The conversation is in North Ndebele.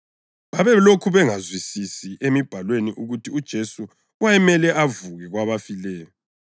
(Babelokhu bengezwisisi emibhalweni ukuthi uJesu wayemele avuke kwabafileyo.)